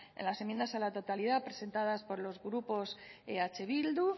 las enmiendas a la totalidad presentadas por los grupos eh bildu